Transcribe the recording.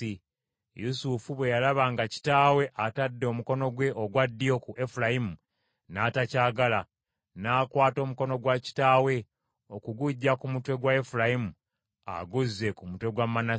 Yusufu bwe yalaba nga kitaawe atadde omukono gwe ogwa ddyo ku Efulayimu n’atakyagala, n’akwata omukono gwa kitaawe okuguggya ku mutwe gwa Efulayimu aguzze ku mutwe gwa Manase.